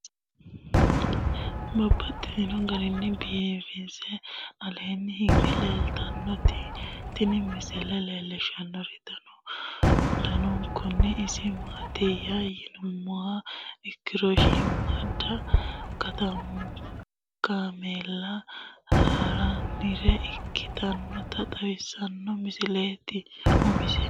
Babaxxittinno garinni biiffe aleenni hige leelittannotti tinni misile lelishshanori danu danunkunni isi maattiya yinummoha ikkiro shiimmada kaameela hirannire ikkitrinotta xawissanno misile umise.